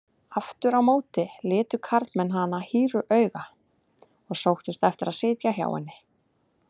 Aftur á móti litu karlmenn hana hýru auga og sóttust eftir að sitja hjá henni.